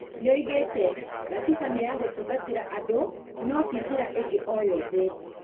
Nĩoigĩte "Gatiba nĩ ya gũtungatĩra andũ no ti njĩra ingĩ oyothe"